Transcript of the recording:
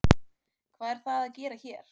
Hvað er það að gera hér?